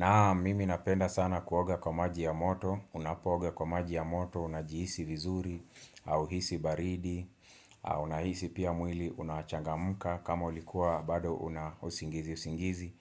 Naam mimi napenda sana kuoga kwa maji ya moto, unapooga kwa maji ya moto, unajihisi vizuri hauhisi baridi, unahisi pia mwili unachangamka kama ulikuwa bado una usingizi usingizi,